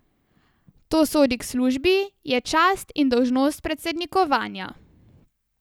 To sodi k službi, je čast in dolžnost predsednikovanja.